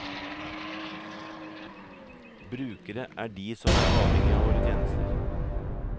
Brukere er de som er avhengige av våre tjenester.